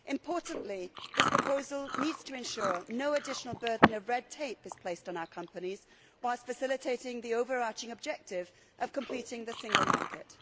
Importantly, this proposal needs to ensure no additional burden of red tape is placed on our companies whilst facilitating the overarching objective of completing the single market.